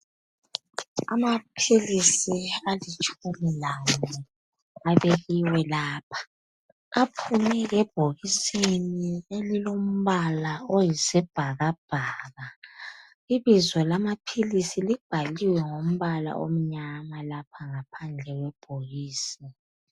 Amaphilisi alitshumi lane abekiwe lapha. Aphumile ebhokisini elilombala oyisibhakabhaka. Ibizo lamaphilisi libhaliwe ngombala omnyama lapha ngaphandle kwebhokisi.